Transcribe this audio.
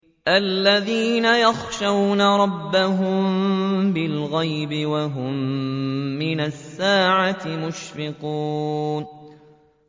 الَّذِينَ يَخْشَوْنَ رَبَّهُم بِالْغَيْبِ وَهُم مِّنَ السَّاعَةِ مُشْفِقُونَ